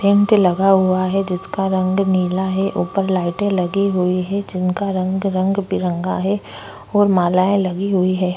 Tent लगा हुआ है जिसका रंग नीला है ऊपर लाइटें लगी हुई है जिनका रंग रंग-बिरंगा है और मालाएँ लगी हुई हैं।